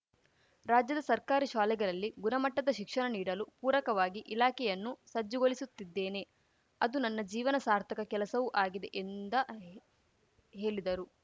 ರಾಜ್ಯದ ಸರ್ಕಾರಿ ಶಾಲೆಗಳಲ್ಲಿ ಗುಣಮಟ್ಟದ ಶಿಕ್ಷಣ ನೀಡಲು ಪೂರಕವಾಗಿ ಇಲಾಖೆಯನ್ನು ಸಜ್ಜುಗೊಳಿಸುತ್ತಿದ್ದೇನೆ ಅದು ನನ್ನ ಜೀವನ ಸಾರ್ಥಕ ಕೆಲಸವೂ ಆಗಿದೆ ಎಂದ ಹೇಲಿದರು